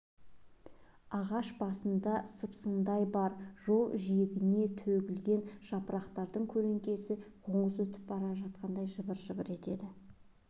ағаш басында сыпсыңдай бар жол жиегіне төгілген жапырақтың көлеңкесі қоңыз өріп бара жатқандай жыбыр-жыбыр етеді